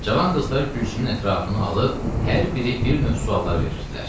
Cavan qızlar Gülsümün ətrafını alıb hər biri bir növ suallar verirdilər.